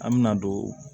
An me na don